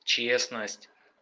честность